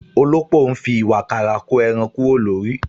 Òlópò ń fi ìwààkàrà ko ẹran kúrò lórí